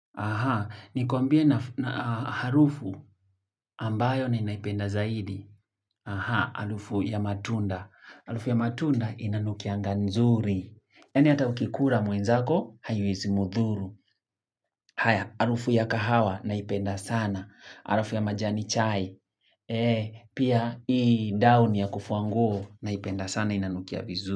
Aha, nikuambie na harufu ambayo ninaipenda zaidi. Aha, harufu ya matunda. Harufu ya matunda inanukianga nzuri. Yaani hata ukikula mwenzako, haiwezi mdhuru. Haya, harufu ya kahawa, naipenda sana. Harufu ya majani chai. Eee, pia ii dauni ya kufua nguo naipenda sana inanukia vizuri.